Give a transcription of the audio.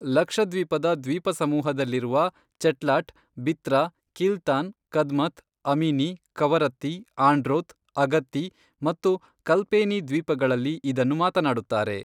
ಲಕ್ಷದ್ವೀಪದ ದ್ವೀಪಸಮೂಹದಲ್ಲಿರುವ ಚೆಟ್ಲಾಟ್, ಬಿತ್ರಾ, ಕಿಲ್ತಾನ್, ಕದ್ಮತ್, ಅಮಿನಿ, ಕವರತ್ತಿ, ಆಂಡ್ರೋತ್, ಅಗತ್ತಿ ಮತ್ತು ಕಲ್ಪೇನಿ ದ್ವೀಪಗಳಲ್ಲಿ ಇದನ್ನು ಮಾತನಾಡುತ್ತಾರೆ.